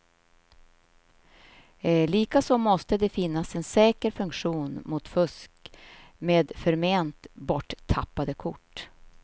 Likaså måste det finnas en säker funktion mot fusk med förment borttappade kort.